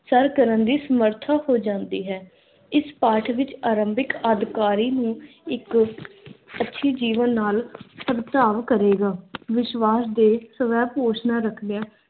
Sir ਕਰਨ ਦੀ ਸਮਰਥਾ ਹੋ ਜਾਂਦੀ ਹੈ। ਇਸ ਪਾਠ ਵਿੱਚ ਆਰੰਭਿਕ ਅਦ-ਕਾਰੀ ਨੂੰ ਅੱਛੀ ਜੀਵਨ ਨਾਲ ਕਰੇਗਾ। ਵਿਸ਼ਵਾਸ ਦੇ ਸਵੈ-ਘੋਸ਼ਣਾ ਰੱਖਦਿਆਂ